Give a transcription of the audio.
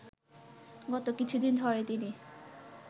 গত কিছুদিন ধরে তিনি